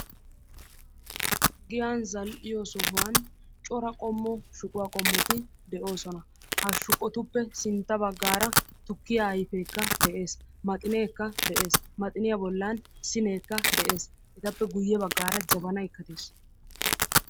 Giyan zal"iyoo sohuwan cora qommo shuquwaa qommoti de'oosona. Ha shuqotuppe sintta baggaara tukkiyaa ayfeekka de'ees. Maxineekka de'ees. Maxiniya bollan sineekka de'ees. Hegaappe guyye baggaara jabanaykka de'ees.